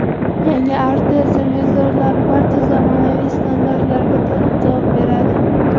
Yangi Artel televizorlari barcha zamonaviy standartlarga to‘liq javob beradi.